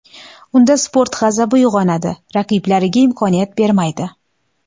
Unda sport g‘azabi uyg‘onadi, raqiblariga imkoniyat bermaydi.